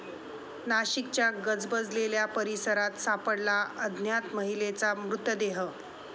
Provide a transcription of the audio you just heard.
नाशिकच्या गजबजलेल्या परिसरात सापडला अज्ञात महिलेचा मृतदेह